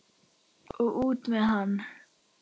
Og út með hann!